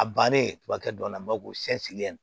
A bannen kuma kɛ dɔ la bamakɔ cɛ sirilen